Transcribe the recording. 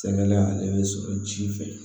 Sɛgɛn la yɛrɛ bɛ sɔrɔ ji fɛ